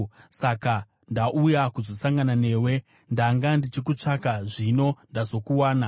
Saka ndauya kuzosangana newe; ndanga ndichikutsvaka, zvino ndazokuwana!